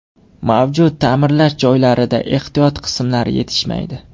Mavjud ta’mirlash jarayonlarida ehtiyot qismlar yetishmaydi.